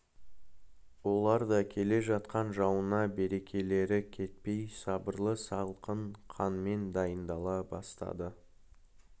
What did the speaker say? олар да келе жатқан жауына берекелері кетпей сабырлы салқын қанмен дайындала бастады